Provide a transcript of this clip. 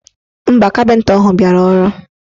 Mba, kapịnta ahụ biara ọrụ.